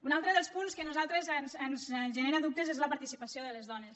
un altre dels punts que a nosaltres ens genera dubtes és la participació de les dones